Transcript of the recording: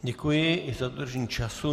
Děkuji i za dodržení času.